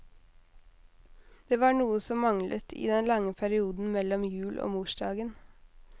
Det var noe som manglet i den lange perioden mellom jul og morsdagen.